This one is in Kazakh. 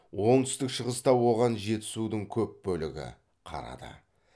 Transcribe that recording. оңтүстік шығыста оған жетісудың көп бөлігі қарады